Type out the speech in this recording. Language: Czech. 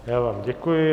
Já vám děkuji.